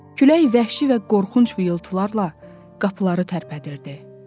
Külək vəhşi və qorxunc vıyultularla qapıları tərpədirdi.